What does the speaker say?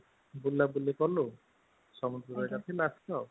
ବୁଲ ବୁଲି କଲୁ ସମୁଦ୍ରରେ